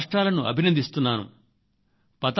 భేటీ పడావో దీనికి ఒక మంచి సందేశం ఇచ్చే ప్రయత్నం చేశాయి